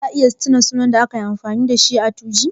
Za a iya tuna sunan da kai amfani a 2go?